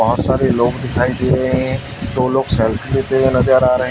बहुत सारे लोग दिखाई दे रहे हैं दो लोग सेल्फी लेते हुए नजर आ रहे--